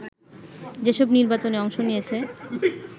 যেসব নির্বাচনে অংশ নিয়েছে